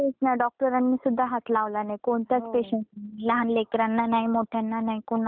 कोणत्याच पेशंट ला. लहान लेकरांना नाही मोठ्यांना नाही कुणाला कुणालाच हात नाही लावला.